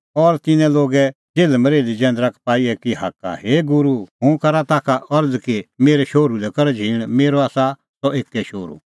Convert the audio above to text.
और तिन्नां लोगे जेल्हमरेल्ही जैंदरा का पाई एकी हाक्का हे गूरू हुंह करा ताखा अरज़ कि मेरै शोहरू लै कर झींण मेरअ आसा सह एक्कै शोहरू